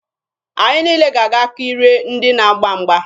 Anyị niile ga-aga kirie ndị na-agba mgba.